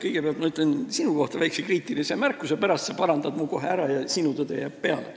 Kõigepealt ma teen sinu kohta väikse kriitilise märkuse, sa pärast parandad mu sõnad kohe ära ja sinu tõde jääb peale.